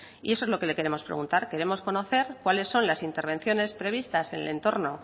y eso es lo que le queremos preguntar queremos conocer cuáles son las intervenciones previstas en el entorno